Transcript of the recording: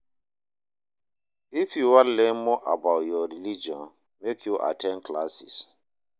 If you wan learn more about your religion, make you at ten d classes.